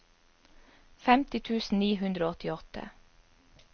femti tusen ni hundre og åttiåtte